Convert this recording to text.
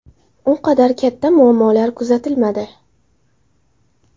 U qadar katta muammolar kuzatilmadi.